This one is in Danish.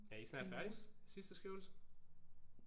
Er I snart færdige? Sidste skriveøvelse?